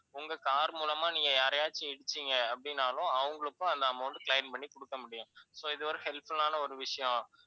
உங்க car மூலமா நீங்க யாரையாச்சு இடிச்சீங்க அப்படின்னாலும் அவங்களுக்கும் அந்த amount claim பண்ணி குடுக்கமுடியும். so இது வந்து helpful ஆன ஒரு விஷயம்.